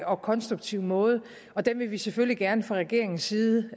og konstruktiv måde den vil vi selvfølgelig gerne fra regeringens side